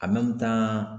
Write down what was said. tan